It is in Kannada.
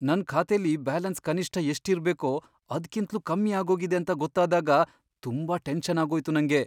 ನನ್ ಖಾತೆಲಿ ಬ್ಯಾಲೆನ್ಸ್ ಕನಿಷ್ಠ ಎಷ್ಟ್ ಇರ್ಬೇಕೋ ಅದ್ಕಿಂತ್ಲೂ ಕಮ್ಮಿ ಆಗೋಗಿದೆ ಅಂತ ಗೊತ್ತಾದಾಗ ತುಂಬಾ ಟೆನ್ಷನ್ ಆಗೋಯ್ತು ನಂಗೆ.